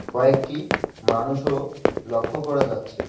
কয়েকটি মানুষও লক্ষ করা যাচ্ছে।